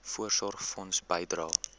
voorsorgfonds bydrae